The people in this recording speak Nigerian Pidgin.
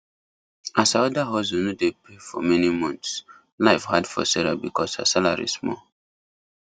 as her other hustle no dey pay for many months life hard for sarah because her salary small